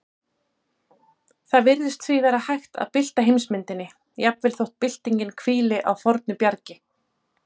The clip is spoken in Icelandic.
Það virðist því vera hægt að bylta heimsmyndinni, jafnvel þótt byltingin hvíli á fornu bjargi.